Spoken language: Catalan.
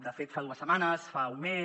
de fet fa dues setmanes fa un mes